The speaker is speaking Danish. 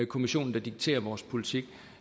kommissionen der dikterer vores politik